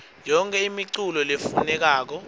yonkhe imiculu lefunekako